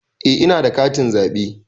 Eh ina da katin zaɓe